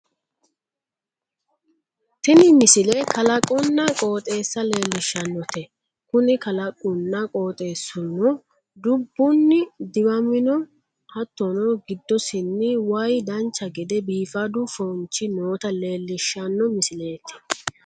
tini misile kalaqonna qoxeessa lellishshannote kuni kalaqunna qoxeessuno dubbunni diwaminoha hattono giddosiinni waye dancha gede biifadu foonchi noota leellishshano misileeti